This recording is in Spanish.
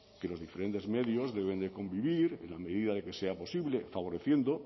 que los diferentes medios deben convivir en la medida en que sea posible favoreciendo